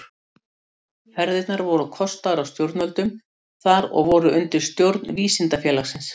Ferðirnar voru kostaðar af stjórnvöldum þar og voru undir umsjón Vísindafélagsins.